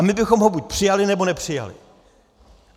A my bychom ho buď přijali, nebo nepřijali.